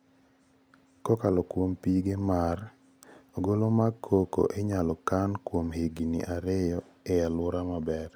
Kokalo kuom pige mar 7.5%, ogolo mag cocoa inyalo kan kuom higini ariyo e alwora maber